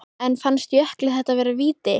En fannst Jökli þetta vera víti?